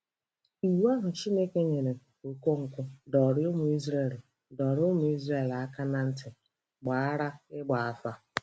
Iwu ahụ Chineke nyere Okonkwo dọrọ ụmụ Izrel dọrọ ụmụ Izrel aka na ntị gbara ịgba afa.